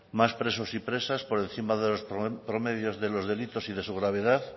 más presos y presas por encima de los promedios de los delitos y de su gravedad